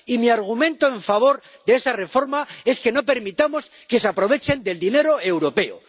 Y mi argumento en favor de esa reforma es que no permitamos que se aprovechen del dinero europeo.